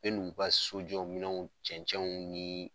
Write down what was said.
ni u ka sojɔ minɛnw cɛncɛnw ni